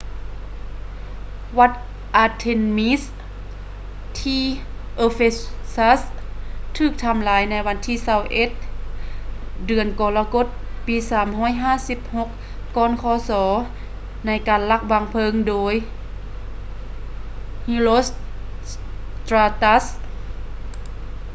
ວັດ artemis ທີ່ ephesus ຖືກທຳລາຍໃນວັນທີ 21 ເດືອນກໍລະກົດ ປີ 356 ກ່ອນຄ.ສ ໃນການລັກວາງເພີງໂດຍ herostratus